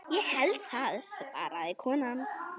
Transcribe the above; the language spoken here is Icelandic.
Ég held það svaraði konan.